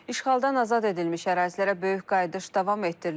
İşğaldan azad edilmiş ərazilərə böyük qayıdış davam etdirilir.